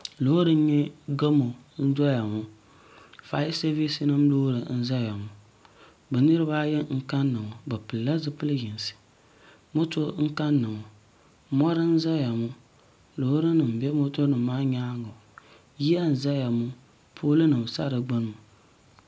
lori n nyɛ gamo n doya ŋɔ ƒɔyasabisi lori n zaya ŋɔ bɛ niribaayi n kana ŋɔ be pɛlila zupɛli yinisi moto n kana ŋɔ moi n zaya ŋɔ Lori nim bɛ moto nim maa nyɛŋa yiya n.zaya ŋɔ poli nim sa di gbani ŋɔ